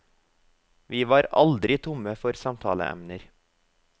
Vi var aldri tomme for samtaleemner.